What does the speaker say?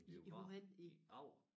En biograf i Agger